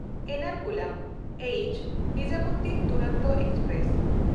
Ernakulam H. Nizamuddin Duronto express